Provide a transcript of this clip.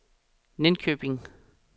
Linköping